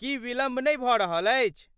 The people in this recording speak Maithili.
की विलम्ब नहि भऽ रहल अछि?